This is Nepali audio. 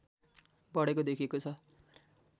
बढेको देखिएको छ